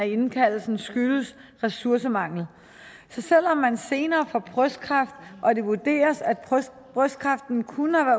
indkaldelsen skyldes ressourcemangel så selv om man senere får brystkræft og det vurderes at brystkræften kunne